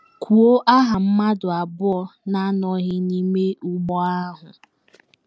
Kwuo aha mmadụ abụọ na - anọghị n’ime ụgbọ ahụ.